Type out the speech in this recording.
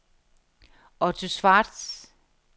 Otto Schwartz